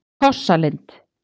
Krossalind